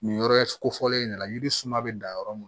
Nin yɔrɔ kofɔlen in de la yiri suma bɛ dan yɔrɔ mun